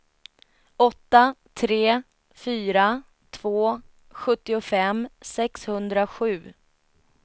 åtta tre fyra två sjuttiofem sexhundrasju